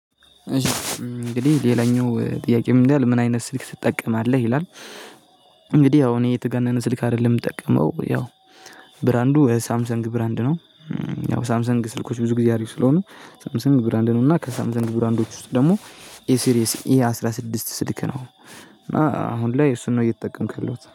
እሺ እንግዲህ ሌላኛው ጥያቄ ምን ይላል ምን አይነት ስልክ ትጠቀማለህ ይላል? እንግዲህ ያው እኔ የተጋነነ ስልክ አይደለም የምጠቀመው ያው ብራንዱ ሳምሰንግ ብራንድ ነው። ያው ሳምሰንግ ስልኮች ብዙ ጊዜ አሪፍ ስለሆኑ ሳምሰንግ ብራንድ ነው እና ከሳምሰንግ ብራንዶች ውስጥ ደግሞ ኤ ሲሪየስ ኤ አስራ ስድስት ስልክ ነው። እና አሁን ላይ እሱን ነው እየተጠቀምኩ ያለሁት